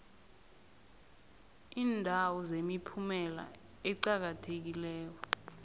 iindawo zemiphumela eqakathekileko